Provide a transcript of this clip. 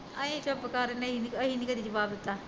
ਅਸੀਂ ਚੁਪ ਕਰ ਜਾਂਦੇ ਅਸੀਂ ਨੀ ਕਦੀ ਜਵਾਬ ਦਿੱਤਾ